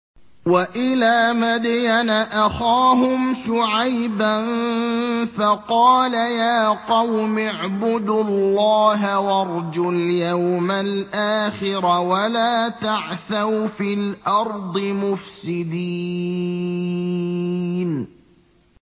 وَإِلَىٰ مَدْيَنَ أَخَاهُمْ شُعَيْبًا فَقَالَ يَا قَوْمِ اعْبُدُوا اللَّهَ وَارْجُوا الْيَوْمَ الْآخِرَ وَلَا تَعْثَوْا فِي الْأَرْضِ مُفْسِدِينَ